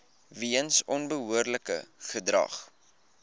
weens onbehoorlike gedrag